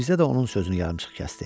Mirzə də onun sözünü yarımçıq kəsdi.